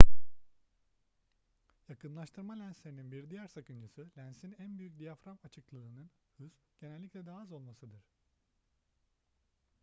yakınlaştırma lenslerinin bir diğer sakıncası lensin en büyük diyafram açıklığının hız genellikle daha az olmasıdır